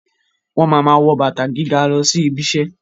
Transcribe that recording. Wọ́n ma ma wọ́ bàtà gíga lọ sí ibiṣẹ́